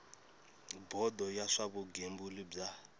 bodo ya swa vugembuli bya